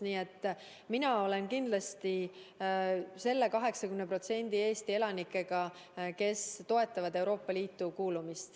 Nii et mina olen kindlasti selle 80% Eesti elanike seas, kes toetavad Euroopa Liitu kuulumist.